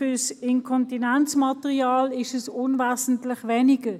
Für Inkontinenzmaterial ist es unwesentlich weniger.